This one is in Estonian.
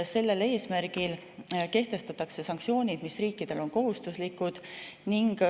Sellel eesmärgil kehtestatakse sanktsioonid, mis riikidele on kohustuslikud.